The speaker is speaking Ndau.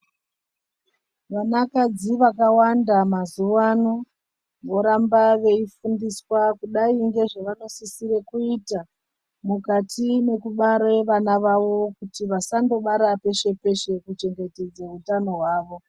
Vanakadzi vakawanda mazuvano voramba veifundiswa kudai ngezvavanosisire kuita mukati mekubara vana vavo kuti vasandobara peshe-peshe kuchengetsmedza utano hwavo.